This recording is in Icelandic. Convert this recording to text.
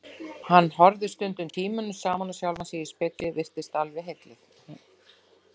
Hún horfði stundum tímunum saman á sjálfa sig í spegli, virtist alveg heilluð.